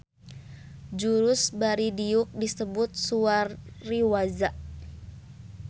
Jurus bari diuk disebut suwari-waza